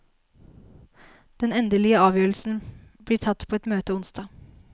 Den endelige avgjørelsen blir tatt på et møte onsdag.